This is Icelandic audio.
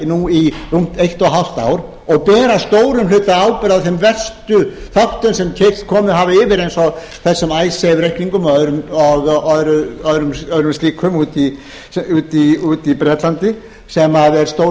nú í rúmt eitt og hálft ár og ber að stórum hluta ábyrgð á þeim verstu þáttum sem komið hafa yfir eins og þessum icesave reikningum og öðrum slíkum úti í bretlandi sem er stór hluti